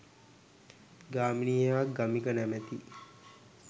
ගාමිණී හෙවත් ගමික නමැති